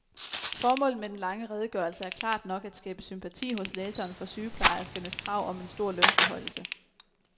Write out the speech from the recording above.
Formålet med den lange redegørelse er klart nok at skabe sympati hos læseren for sygeplejerskernes krav om en stor lønforhøjelse.